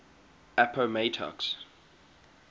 appomattox